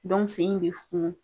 Dɔnku sen in bɛ funu